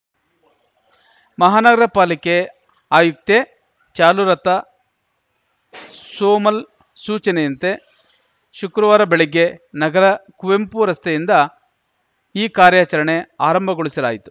ಮಹಾನಗರ ಪಾಲಿಕೆ ಆಯುಕ್ತೆ ಚಾಲುಲತಾ ಶೋಮಲ್‌ ಸೂಚನೆಯಂತೆ ಶುಕ್ರವಾರ ಬೆಳಗ್ಗೆ ನಗರ ಕುವೆಂಪು ರಸ್ತೆಯಿಂದ ಈ ಕಾರ್ಯಾಚರಣೆ ಆರಂಭಗೊಳಿಸಲಾಯಿತು